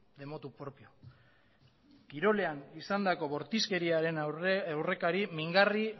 de motu propio kirolean izandako bortizkeriaren aurrekari mingarri